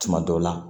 Tuma dɔw la